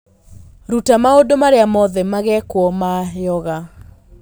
Ruta maũndũ marĩa mothe magekwo ma yoga